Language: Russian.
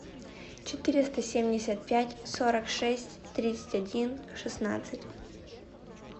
четыреста семьдесят пять сорок шесть тридцать один шестнадцать